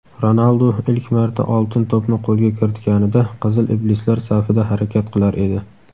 Ronaldu ilk marta "Oltin to‘p"ni qo‘lga kiritganida "Qizil iblislar" safida harakat qilar edi.